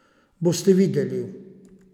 Boste videli.